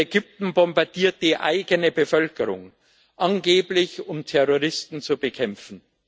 Ägypten bombardiert die eigene Bevölkerung angeblich, um Terroristen zu bekämpfen.